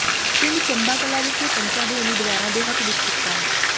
ਪਿੰਡ ਚੰਬਾ ਕਲਾਂ ਵਿਖੇ ਪੰਚਾਂ ਦੇ ਉਮੀਦਵਾਰਾਂ ਦੇ ਹੱਕ ਵਿੱਚ ਕੀਤਾ